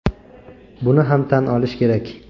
Buni ham tan olish kerak.